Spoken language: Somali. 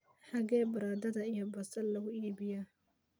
xagee baradhada iyo basal lagu iibiyaa?